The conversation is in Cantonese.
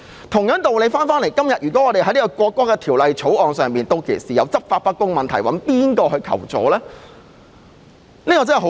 同樣道理，如果《條例草案》出現執法不公的問題，可以向誰人求助呢？